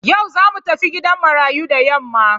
Yau za mu tafi gidan marayu da yamma.